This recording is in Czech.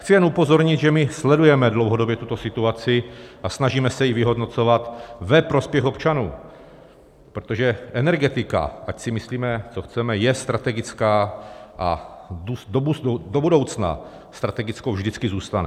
Chci jen upozornit, že my sledujeme dlouhodobě tuto situaci a snažíme se ji vyhodnocovat ve prospěch občanů, protože energetika, ať si myslíme, co chceme, je strategická a do budoucna strategickou vždycky zůstane.